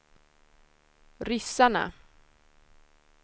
ryssarna